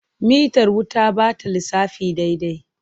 Mitar wuta ba ta lissafi daidai.